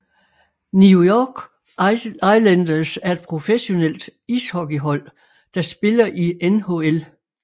New York Islanders er et professionelt ishockeyhold der spiller i NHL